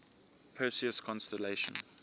perseus constellation